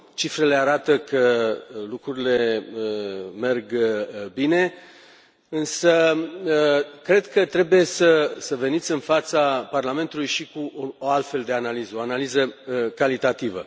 Cifrele arată că lucrurile merg bine, însă cred că trebuie să veniți în fața Parlamentului și cu o altfel de analiză o analiză calitativă.